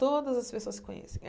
Todas as pessoas se conhecem.